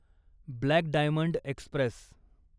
black diamond Express